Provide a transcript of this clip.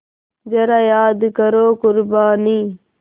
ज़रा याद करो क़ुरबानी